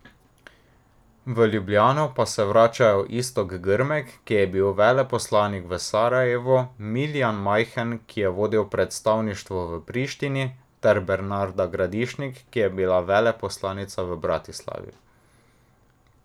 V Ljubljano pa se vračajo Iztok Grmek, ki je bil veleposlanik v Sarajevu, Miljan Majhen, ki je vodil predstavništvo v Prištini, ter Bernarda Gradišnik, ki je bila veleposlanica v Bratislavi.